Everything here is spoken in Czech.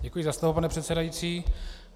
Děkuji za slovo, pane předsedající.